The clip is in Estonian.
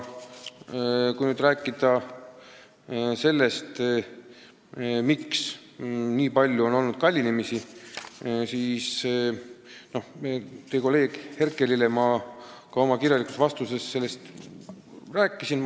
Kui nüüd rääkida sellest, miks kõik läheb nii palju kallimaks, siis teie kolleegile Herkelile ma selgitasin ka oma kirjalikus vastuses, miks nimelt.